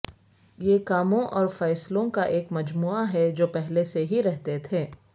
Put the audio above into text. یہ کاموں اور فیصلوں کا ایک مجموعہ ہے جو پہلے سے ہی رہتے تھے